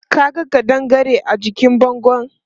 Ka ga ƙadangare a jikin bangon?